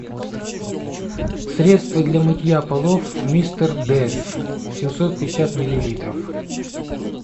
средство для мытья полов мистер дез семьсот пятьдесят миллилитров